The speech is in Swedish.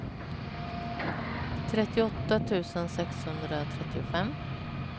trettioåtta tusen sexhundratrettiofem